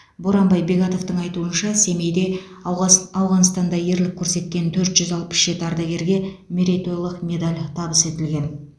боранбай бегатовтың айтуынша семейде ауғас ауғанстанда ерлік көрсеткен төрт жүз алпыс жеті ардагерге мерейтойлық медаль табыс етілген